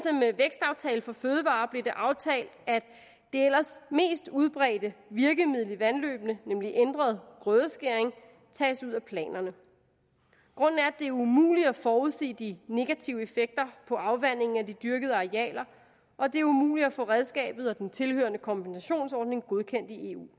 i for fødevarer blev det aftalt at det ellers mest udbredte virkemiddel i vandløbene nemlig ændret grødeskæring tages ud af planerne grunden er at det er umuligt at forudsige de negative effekter på afvandingen af de dyrkede arealer og at det er umuligt at få redskabet og den tilhørende kompensationsordning godkendt i eu